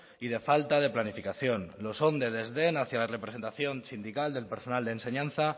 y de falta de planificación lo son de desdén hacia la representación sindical del personal de enseñanza